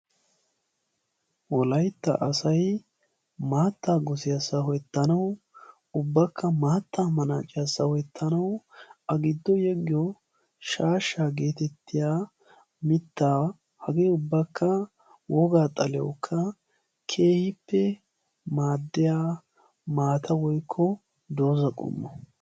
Wolaytta asay maattaa gosiyaa sawettanawu ubbakka maattaa manaaciyaa sawettanawu a giddo yeggiyoo shaashshaa getettiyaa mittaa hagee ubbakka wogaa xaliyaawukka keehippe maaddiyaa maata woykko dooza qommo.